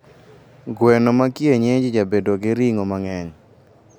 gweno ma kienyeji jabedo gi ringo mangeny